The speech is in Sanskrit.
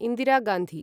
इन्दिरा गान्धी